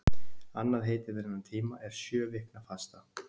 annað heiti yfir þennan tíma er sjöviknafasta